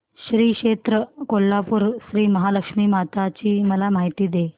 श्री क्षेत्र कोल्हापूर श्रीमहालक्ष्मी माता ची मला माहिती दे